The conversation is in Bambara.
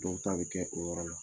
Dɔw ta bɛ kɛ o yɔrɔ la